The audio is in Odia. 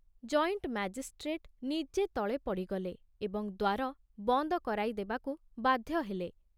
ଜଏଣ୍ଟ ମାଜିଷ୍ଟ୍ରେଟ ନିଜେ ତଳେ ପଡ଼ିଗଲେ ଏବଂ ଦ୍ଵାର ବନ୍ଦ କରାଇ ଦେବାକୁ ବାଧ୍ୟ ହେଲେ।